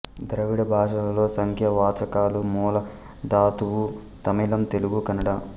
ద్రావిడ భాషలలో సంఖ్యా వాచకాలు మూల ధాతువు తమిళం తెలుగు కన్నడ